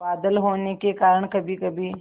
बादल होने के कारण कभीकभी